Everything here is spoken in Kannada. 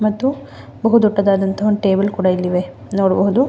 ಮತ್ತು ಬಹು ದೊಡ್ಡದಾದ ಟೇಬಲ್ ಕೂಡ ಇಲ್ಲಿ ಇವೆ ನೋಡಬಹುದು.